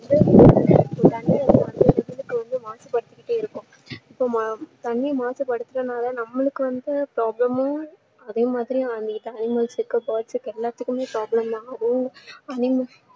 மாசுபடுத்திக்கிட்டே இருக்கோம் இப்போ மா~தண்ணீர் மாசுபடுத்துறதுனால நம்மளுக்கு வந்து problem உம் அதே மாதிரி அங்க இருக்க animals கு birds கு எல்லாதுக்குமே வந்து problem தான் அதுவும் animals